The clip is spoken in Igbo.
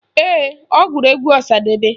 Ee, ọ gụrụ egwu Ọsadebe